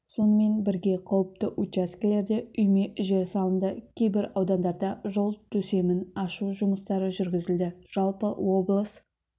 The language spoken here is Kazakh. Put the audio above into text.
сонымен бірге қауіпті учаскелерде үйме жер салынды кейбір аудандарда жол төсемін ашу жұмыстары жүргізілді жалпы облыс